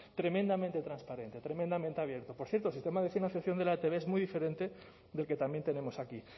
tremendamente transparente tremendamente abierto por cierto el sistema de financiación de la etb es muy diferente del que también tenemos aquí